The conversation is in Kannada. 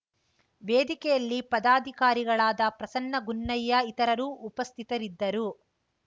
ವೇದಿಕೆಯಲ್ಲಿ ಪದಾಧಿಕಾರಿಗಳಾದ ಪ್ರಸನ್ನ ಗುನ್ನಯ್ಯ ಇತರರು ಉಪಸ್ಥಿತಿದ್ದರು